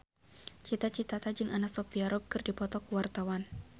Cita Citata jeung Anna Sophia Robb keur dipoto ku wartawan